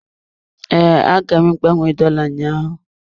Ee, agara m gbanwee dola ụnyaahụ.